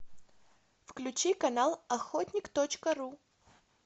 включи канал охотник точка ру